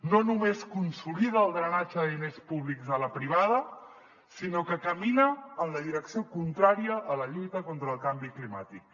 no només consolida el drenatge de diners públics a la privada sinó que camina en la direcció contrària a la lluita contra el canvi climàtic